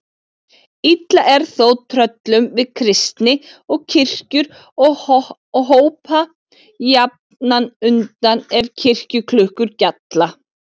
Illa er þó tröllum við kristni og kirkjur og hopa jafnan undan ef kirkjuklukkur gjalla.